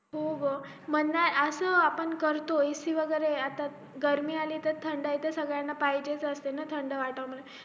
हो ग मग असं आपण करतो ac वैगरे आता गर्मी अली कि थंड तर सगळ्यांना पाहिजेच असता ना थंड वाटावा म्हणून